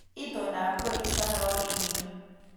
Itondap koristo nebo wiikini